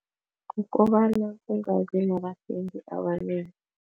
Kukobana kungabi abathengi abanengi.